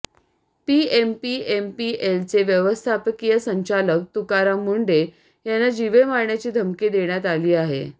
पीएमपीएमएलचे व्यवस्थापकीय संचालक तुकाराम मुंढे यांना जीवे मारण्याची धमकी देण्यात आली आहे